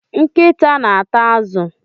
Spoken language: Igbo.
Nkịta na ata azụ.